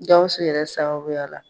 Gawusu yɛrɛ sababuya la